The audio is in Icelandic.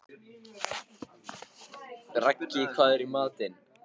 Raggi, hvað er í matinn?